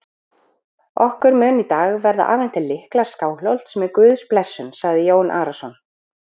Okkur munu í dag verða afhentir lyklar Skálholts með Guðs blessun, sagði Jón Arason.